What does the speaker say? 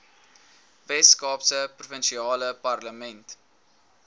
weskaapse provinsiale parlement